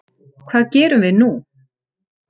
Hvað gerum við nú